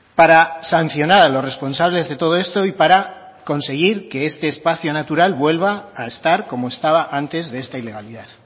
para sancionar a los responsables de todo esto y para conseguir que este espacio natural vuelva a estar como estaba antes de esta ilegalidad